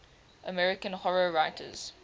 american horror writers